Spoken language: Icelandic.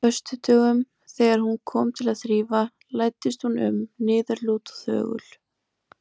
föstudögum, þegar hún kom til að þrífa, læddist hún um, niðurlút og þögul.